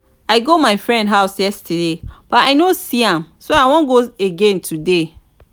i go my friend house yesterday but i no see am so i wan go again today